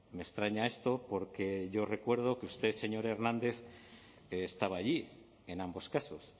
me extraña esto porque yo recuerdo que usted señor hernández estaba allí en ambos casos